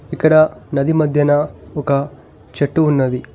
ఇక్కడ నది మధ్యన ఒక చెట్టు ఉన్నది.